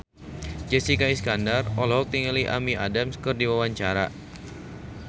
Jessica Iskandar olohok ningali Amy Adams keur diwawancara